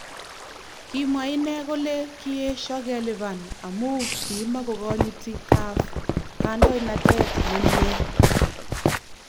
Kimwa inne kole kiesho keliban amu kimakokonyiti CAF kandoinatet ne mie